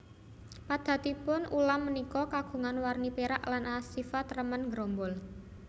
Padatanipun ulam punika kagungan warni pérak lan asifat remen nggerombol